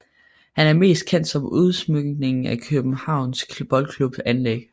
Han er mest kendt var udsmykningen af Kjøbenhavns Boldklubs anlæg